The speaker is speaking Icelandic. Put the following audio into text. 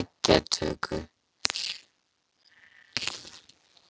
eggjatöku.